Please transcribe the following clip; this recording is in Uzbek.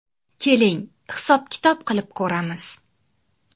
Keling, hisob-kitob qilib ko‘ramiz!